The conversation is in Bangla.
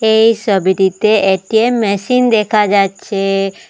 এই সবিটিতে একটি মেশিন দেখা যাচ্ছে।